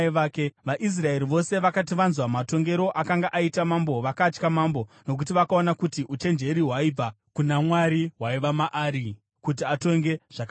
VaIsraeri vose vakati vanzwa matongero akanga aita mambo, vakatya mambo, nokuti vakaona kuti uchenjeri hwaibva kuna Mwari hwaiva maari, kuti atonge zvakarurama.